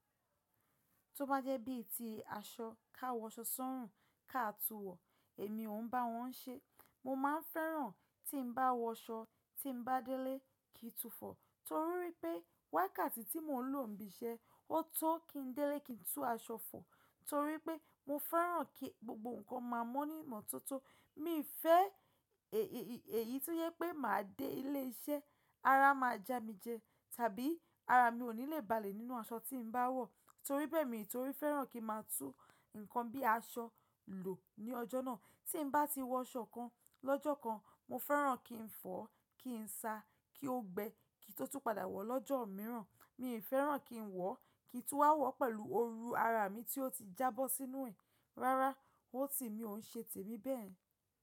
Tó bá jẹ́ bí i ti aṣọ káwọ́ṣọ́ sọ́rùn káàtúwọ̀, èmi ò ń bá wọn ń ṣe. Mo ma ń fẹ́ràn tí ń bá wọ aṣọ tí ń bá délé kí í túfọ̀ torí wipé wákàtí tí mò ń lò níbi iṣẹ́ ọ tó kí ń délé kí n tú aṣọ fọ̀ torí pé mo fẹ́ràn kí gbogbo nǹkan máa mọ́ ní ìmọ́tótó. Mi fẹ́ èyí tí ó yẹ pé máa dé ilé iṣẹ́ ara máa já mi jẹ tàbí ara mi ò ní lè balẹ̀ nínú aṣọ tí ń bá wọ̀ torí bẹ́ẹ̀ mi torí fẹ́ràn kí màá tú nǹkan bí i aṣọ lò ní ọjọ́ náà. Tí ń bá ti wọ aṣọ kan lọ́jọ́ kan, mo fẹ́ràn kí n fọ̀, kí n sa, kí ó gbẹ, kí i tó tú padà wọ̀ lọ́jọ́ mìíràn. Mi ò fẹ́ràn kí n wọ̀ kí n tú a wọ̀ pẹ̀lú oru ara mi tí ó ti jábọ́ sínú ẹ̀. Rárá, ó ti mi ò ń ṣe tèmi bẹ́ẹ̀.